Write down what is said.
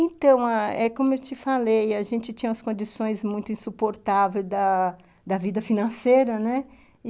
Então ãh, é como eu te falei, a gente tinha as condições muito insuportáveis da da vida financeira, né? e,